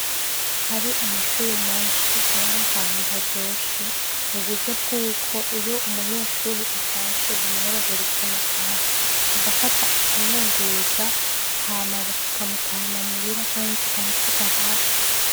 Hari amashure menshi ab'ar'ahantu haryoshe m'uburyo bwuko iyo umunyeshure atashe bimworohera ukuntu ataha agafata ikimwunguruza hama kikamutahana muhira canke kikamusiga hafi.